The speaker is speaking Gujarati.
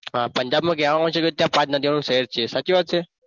હા પંજાબમાં કહેવામાં આવે છે કે આ પાંચ નદીઓનું શહેર છે.